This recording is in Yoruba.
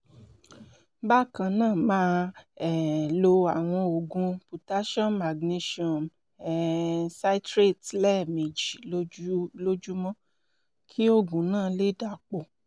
bákan náà máa um lo àwọn oògùn potassium magnesium um citrate lẹ́ẹ̀mejì lójúmọ́ kí oògùn náà lè dàpọ̀